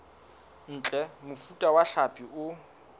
ntle mofuta wa hlapi o